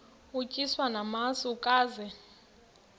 utyiswa namasi ukaze